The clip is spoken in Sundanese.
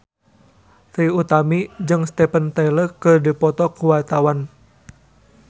Trie Utami jeung Steven Tyler keur dipoto ku wartawan